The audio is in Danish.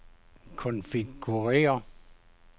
konfigurér